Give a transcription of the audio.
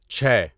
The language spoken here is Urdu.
چھے